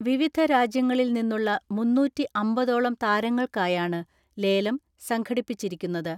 വിവിധ രാജ്യങ്ങളിൽ നിന്നുള്ള മുന്നൂറ്റിഅമ്പതോളം താരങ്ങൾക്കായാണ് ലേലം സംഘടിപ്പിച്ചിരിക്കുന്നത്.